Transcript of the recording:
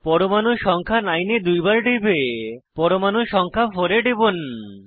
পরমাণু সংখ্যা 9 এ দুইবার টিপে পরমাণু সংখ্যা 4 এ টিপুন